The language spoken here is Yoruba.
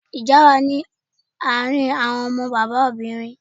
Ìjà wà ní àárín àwọn ọmọ bàbá obìnrin.